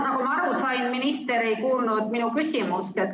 Nagu ma aru sain, minister ei kuulnud minu küsimust.